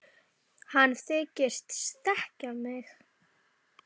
Hann reyndi að þrýsta hjartanu aftur á sinn stað.